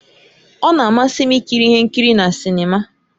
Ọ na-amasị m ikiri ihe nkiri na sinima